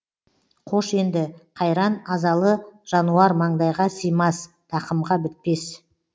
қош енді қайран азалы жануар маңдайға симас тақымға бітпес